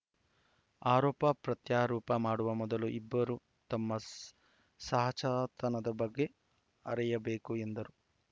ಆರೋಪ ಪ್ರತ್ಯಾರೋಪ ಮಾಡುವ ಮೊದಲು ಇಬ್ಬರೂ ತಮ್ಮ ಸ್ ಸಾಚಾತನದ ಬಗ್ಗೆ ಅರಿಯಬೇಕು ಎಂದರು